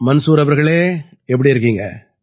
மன்சூர் அவர்களே எப்படி இருக்கீங்க